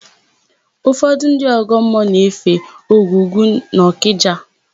Ụfọdụ ndị ọgọmmụọ na-efe Ogwugwu n'Ọkịja.